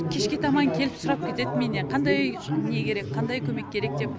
кешке таман келіп сұрап кетеді менен қандай не керек қандай көмек керек деп